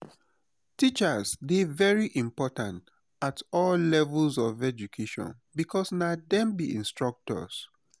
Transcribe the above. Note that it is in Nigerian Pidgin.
teachers dey very important at all levels of education because na dem be instructors